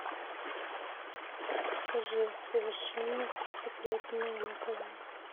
покажи совершенно секретное на тв